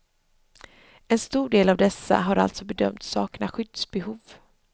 En stor del av dessa har alltså bedömts sakna skyddsbehov.